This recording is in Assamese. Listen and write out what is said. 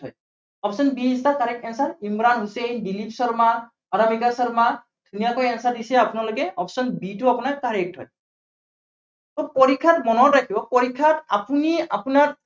option b is the correct answer Imran Hussain, Dilip Sharma, Anamika Sharma, ধুনীয়াকৈ answer দিছে আপোনালোকে, option b টো আপোনাৰ correct হয়। পৰীক্ষাত মনত ৰাখিব, পৰীক্ষাত আপুনি আপোনাৰ